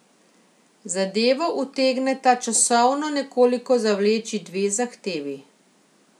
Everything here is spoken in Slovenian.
Zadevo utegneta časovno nekoliko zavleči dve zahtevi.